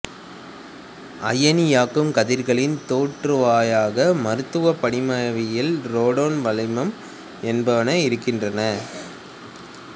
அயனியாக்கும் கதிர்களின் தோற்றுவாயாக மருத்துவப் படிமவியல் ரேடான் வளிமம் என்பன இருக்கின்றன